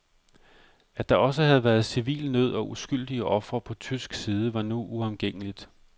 At der også havde været civil nød og uskyldige ofre på tysk side, var nu uomgængeligt.